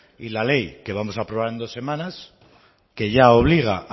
y la ley que vamos a aprobar en dos semanas que ya obliga